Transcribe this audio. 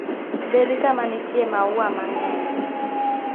Bed kama nitie maua mang'eny.